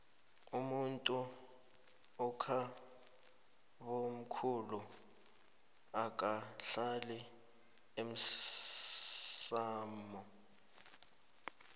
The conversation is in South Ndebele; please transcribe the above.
umuntu ekhabomkhulu akahlali emsamo